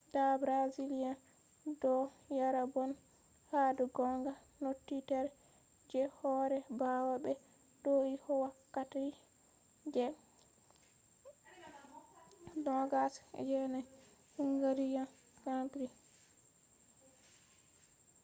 da brazillian do yara bone hado gonga naunitere je hore bawa be do’ii wokkati je 2009 hungarian grand prix